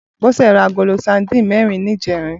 Bose rá àgóló sàdín mèrín nijèrín